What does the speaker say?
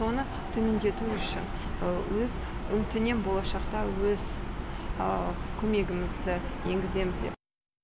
соны төмендету үшін өз үміттенем болашақта өз көмегімізді енгіземіз деп